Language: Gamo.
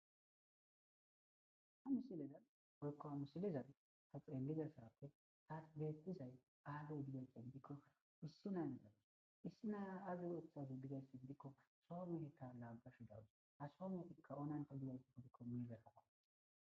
Ha missilezanni woyikko haa missilezanni taa xellizayiththo azee betiziya gikko issi mara issi Naya ayi othaze gikko Soo meheta lagashshe dawus.haa Soo mehetikka onanite giddikko boratakko.